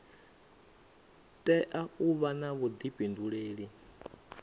tea u vha na vhuḓifhinduleli